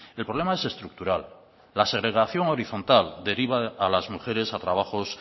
el problema es estructural la segregación horizontal deriva a las mujeres a trabajos